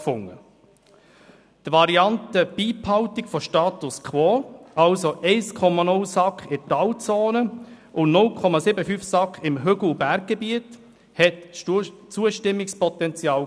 Die Variante «Beibehaltung des Status quo» – 1,0 SAK in Talzonen und 0,75 SAK im Hügel- und Berggebiet – hatte Zustimmungspotenzial.